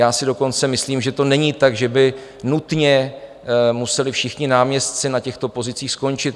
Já si dokonce myslím, že to není tak, že by nutně museli všichni náměstci na těchto pozicích skončit.